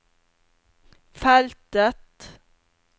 feltet